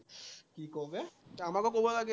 কি কৱ ত আমাকো কব লাগে।